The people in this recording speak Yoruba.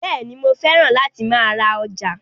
Bẹ́ẹ̀ni, mo fẹ́ràn láti máa ra ọjà